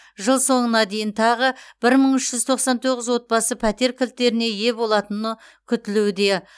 жыл соңына дейін тағы бір мың үш жүз тоқсан тоғыз отбасы пәтер кілттеріне ие болатыны күтілуде